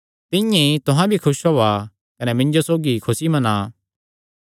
तिंआं ई तुहां भी खुस होआ कने मिन्जो सौगी खुसी मना